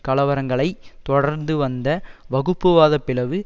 கலவரங்களைத் தொடர்ந்து வந்த வகுப்புவாதப் பிளவு